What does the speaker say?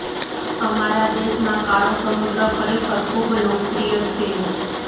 અમારા દેશ માં કાળો સમુદ્ર ખરેખર ખૂબ લોકપ્રિય છે